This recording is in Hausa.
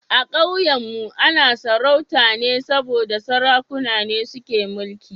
A Kauyenmu ana sarauta ne saboda Sarakuna ne suke mulki